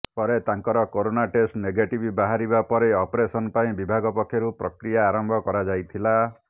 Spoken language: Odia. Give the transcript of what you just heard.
ପରେ ତାଙ୍କର କରୋନା ଟେଷ୍ଟ ନେଗେଟିଭ ବାହାରିବା ପରେ ଅପରେସନ ପାଇଁ ବିଭାଗ ପକ୍ଷରୁ ପ୍ରକ୍ରିୟା ଆରମ୍ଭ କରାଯାଇଥିଲା